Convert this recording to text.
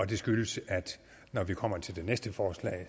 det skyldes at når vi kommer til det næste forslag